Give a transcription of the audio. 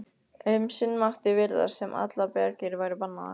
Um sinn mátti virðast sem allar bjargir væru bannaðar.